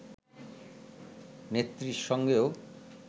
নেত্রীর সঙ্গেও